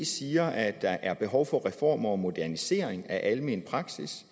siger at der er behov for reformer og modernisering af almen praksis